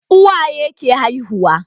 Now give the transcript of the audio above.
Uwaye ke haihuwa